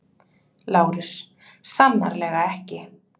LÁRUS: Sannarlega ekki!